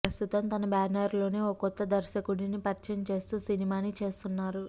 ప్రస్తుతం తన బ్యానర్ లొనే ఓ కొత్త దర్శకుడిని పరిచయం చేస్తూ సినిమాని చేస్తున్నారు